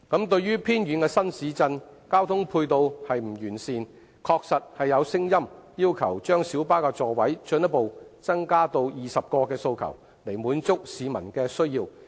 對於偏遠的新市鎮，交通配套不完善，確實有聲音要求把小巴座位進一步增加至20個的訴求，以滿足市民的需要。